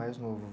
Mais novo.